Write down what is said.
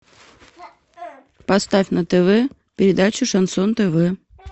поставь на тв передачу шансон тв